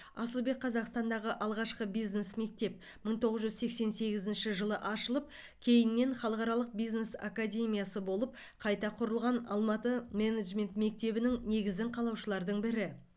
асылбек қазақстандағы алғашқы бизнес мектеп мың тоғыз жүз сексен сегізінші жылы ашылып кейіннен халықаралық бизнес академиясы болып қайта құрылған алматы менеджмент мектебінің негізін қалаушылардың бірі